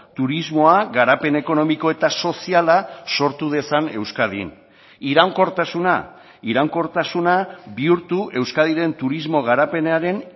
turismoa garapen ekonomiko eta soziala sortu dezan euskadin iraunkortasuna iraunkortasuna bihurtu euskadiren turismo garapenaren